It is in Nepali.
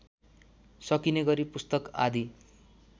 सकिनेगरी पुस्तक आदि